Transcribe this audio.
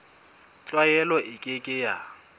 tlwaelo e ke ke ya